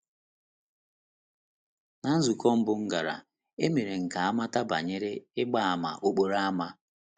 Ná nzukọ mbụ m gara, e mere ka a mata banyere ịgba àmà okporo ámá.